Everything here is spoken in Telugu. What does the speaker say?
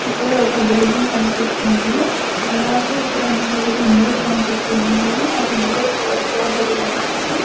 ఇక్కడ ఒక బిల్డింగ్ కనిపిస్తుంది అలాగే ఇక్కడ నాలుగు విండోస్ కనిపిస్తున్నాయి ఆ విండోస్ క్లోజ్ చేయబడి ఉన్నాయి.